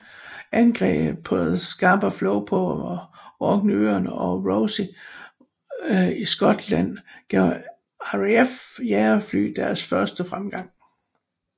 Angreb på Scapa Flow på Orkneyøerne og Rosyth i Skotland gav RAFs jagerfly deres første fremgang